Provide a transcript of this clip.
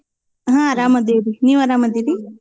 ಹಾ ಆರಾಮ್ ಅದಿವ್ರೀ, ನೀವ್ ಆರಾಮ್ ಅದಿರೀ?